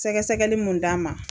Sɛgɛsɛgɛli mun d'an ma.